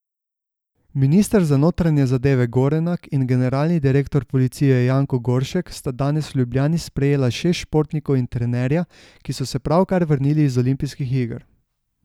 Minister za notranje zadeve Gorenak in generalni direktor policije Janko Goršek sta danes v Ljubljani sprejela šest športnikov in trenerja, ki so se pravkar vrnili z olimpijskih iger.